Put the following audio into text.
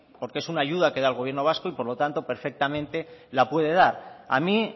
porque es una ayuda que da el gobierno vasco y por lo tanto perfectamente la puede dar a mí